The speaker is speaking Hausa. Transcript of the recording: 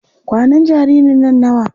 Kwanan jaririn nan nawa?